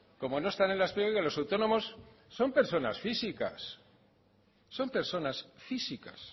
como no están los autónomos son personas físicas